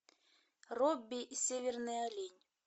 робби северный олень